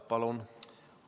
Palun!